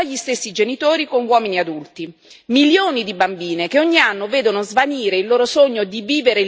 Milioni di bambine che ogni anno vedono svanire il loro sogno di vivere libere e di realizzarsi professionalmente.